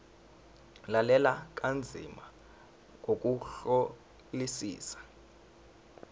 lalela kanzima ngokuhlolisisa